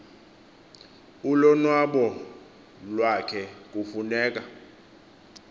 ulonwabo iwakhe kufuneka